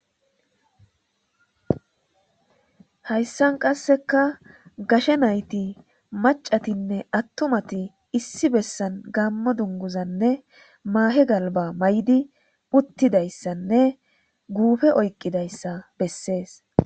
Hayssan qassekka gashe naythi maccathinne aththumathi issi bessan gaammo dungguzanne maahe galbbaa mayidi uththidayssanne guufe oyqqidayssa bessees.